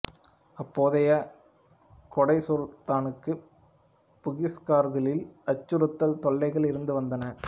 அப்போதைய கெடா சுல்தானுக்குப் பூகிஸ்காரர்களின் அச்சுறுத்தல் தொல்லைகள் இருந்து வந்தன